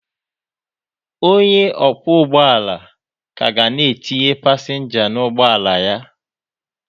Onye ọkwọ ụgbọ ala ka na-etinye pasenja n'ụgbọ ala ya